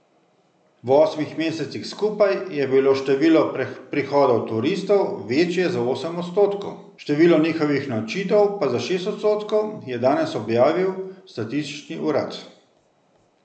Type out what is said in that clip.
V osmih mesecih skupaj je bilo število prihodov turistov večje za osem odstotkov, število njihovih nočitev pa za šest odstotkov, je danes objavil statistični urad.